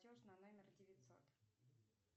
платеж на номер девятьсот